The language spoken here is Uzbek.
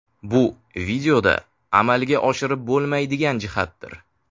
Bu videoda amalga oshirib bo‘lmaydigan jihatdir.